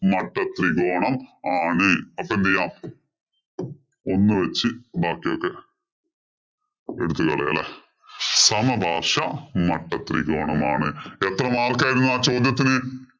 മട്ടത്രികോണം ആണ്. അപ്പൊ എന്തു ചെയ്യാം. ഒന്ന് വച്ച് ഇതാക്കി നോക്കാം. എടുത്തു കളയാം അല്ലേ. സമപാര്‍ശ്വമട്ടത്രികോണം ആണ്. എത്ര mark ആയിരുന്നു ആ ചോദ്യത്തിന്?